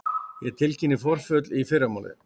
Ég tilkynni forföll í fyrramálið.